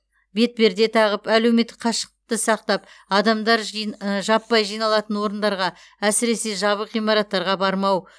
бетперде тағып әлеуметтік қашықтықты сақтап адамдар жин іі жаппай жиналатын орындарға әсіресе жабық ғимараттарға бармау